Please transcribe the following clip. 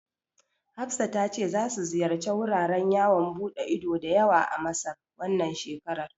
Hafsa ta ce za su ziyarci wuraren yawon ɓude ido da yawa a Masar, wannan shekarar.